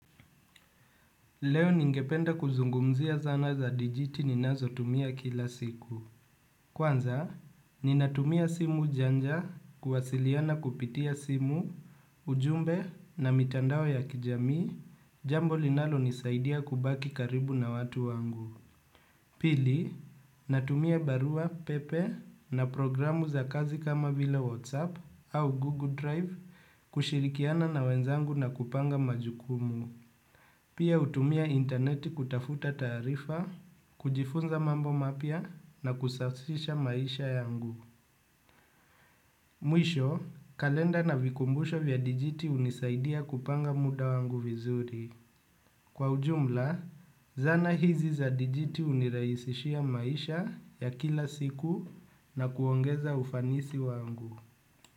Leo ningependa kuzungumzia zana za dijiti ninazotumia kila siku. Kwanza, ninatumia simu janja kuwasiliana kupitia simu, ujumbe na mitandao ya kijamii, jambo linalonisaidia kubaki karibu na watu wangu. Pili, natumia barua pepe na programu za kazi kama vile WhatsApp au Google Drive kushirikiana na wenzangu na kupanga majukumu. Pia hutumia interneti kutafuta taarifa, kujifunza mambo mapya na kusafisha maisha yangu. Mwisho, kalenda na vikumbusho vya dijiti hunisaidia kupanga muda wangu vizuri. Kwa ujumla, zana hizi za dijiti hunirahisishia maisha ya kila siku na kuongeza ufanisi wangu.